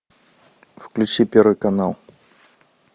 включи первый канал